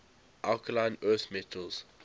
alkaline earth metals